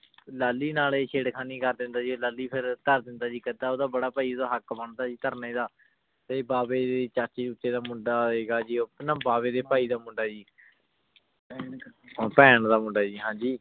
ਲਾਲੀ ਨਾਲ ਆਯ ਛੇਰ ਖਾਣੀ ਕਰ ਦੇਂਦਾ ਆਯ ਜੀ ਲਾਲੀ ਧਰ ਦੇਂਦਾ ਆਯ ਜੀ ਕਥਾ ਓਦਾ ਬਾਰਾ ਪੈ ਓਦਾ ਹਕ਼ ਬੰਦਾ ਧਾਰਨੀ ਦਾ ਤੇ ਆਯ ਬਾਵੀ ਦੇ ਚਾਚੀ ਚੂਚੇ ਦਾ ਮੁੰਡਾ ਹੇਗਾ ਜੀ ਊ ਨਾ ਬਵੇ ਦੇ ਭਾਈ ਦਾ ਮੁੰਡਾ ਜੀ ਪੈਣ ਦਾ ਮੁੰਡਾ ਜੀ ਹਾਂਜੀ